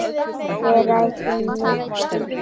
Við ræðum nudd um stund.